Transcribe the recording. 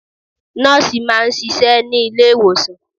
Nọ́ọ̀sì máa ń ṣiṣẹ́ ní ilé ìwòsàn.